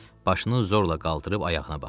Başını zorla qaldırıb ayağına baxdı.